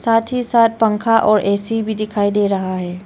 साथ ही साथ पंखा और ए_सी भी दिखाई दे रहा है।